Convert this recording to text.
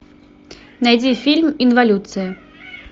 найди фильм инволюция